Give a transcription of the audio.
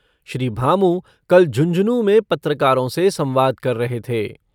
श्री भामू कल झुंझुनूँ में पत्रकारों से संवाद कर रहे थे।